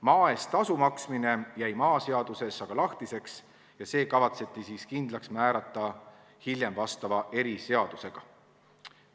Maa eest tasu maksmine jäi maaseaduses aga lahtiseks ja see kavatseti hiljem vastava eriseadusega kindlaks määrata.